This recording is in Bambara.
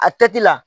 A kɛ ti la